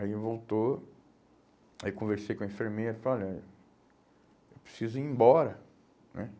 Aí voltou, aí conversei com a enfermeira e falei, olha, eu preciso ir embora, né?